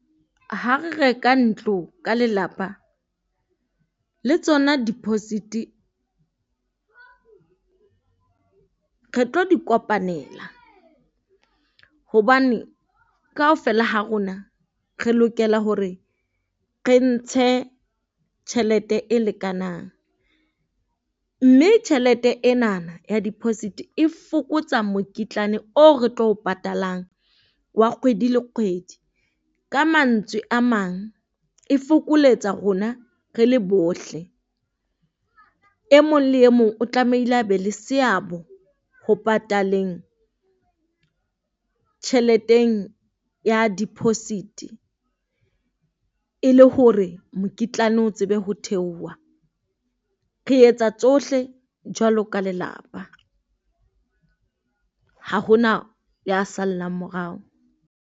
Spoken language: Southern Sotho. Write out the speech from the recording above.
Ha re reka ntlo ka lelapa, le tsona deposit-e re tlo di kopanela. Hobane kaofela ha rona re lokela hore re ntshe tjhelete e lekanang, mme tjhelete enana ya deposit e fokotsa mokitlane oo re tlo o patalang wa kgwedi le kgwedi. Ka mantswe a mang e fokoletsa rona re le bohle. E mong le e mong o tlamehile a be le seabo ho pataleng tjheleteng ya deposit-e, le hore mokitlane o tsebe ho theoha. Re etsa tsohle jwalo ka lelapa, ha ho na ya sallang morao.